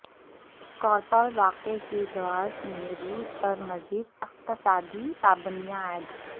Skripal واقع کے جواز میں روس پر مزید اقتصادی پابندیاں عائد